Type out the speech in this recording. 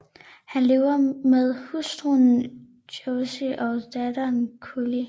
Han lever med hustruen Joyce og datteren Cully